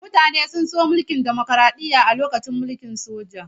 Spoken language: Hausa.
Mutane sun so mulkin dimokraɗiyya a lokacin mulkin soja.